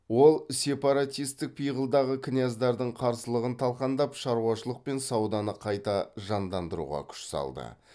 ол сепаратистік пиғылдағы князьдердің қарсылығын талқандап шаруашылық пен сауданы қайта жандандыруға күш салды